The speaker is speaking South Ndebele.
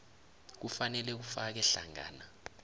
kufanele kufake hlangana